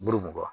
Bulu mugan